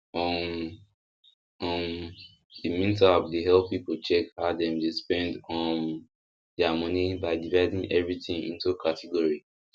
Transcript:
um um the mint app dey help people check how dem dey spend um their money by dividing everything into category